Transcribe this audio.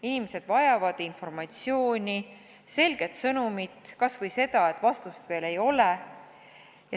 Inimesed vajavad informatsiooni, selget sõnumit, kas või seda, et öeldaks, et vastust veel ei ole.